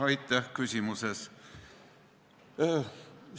Aitäh küsimuse eest!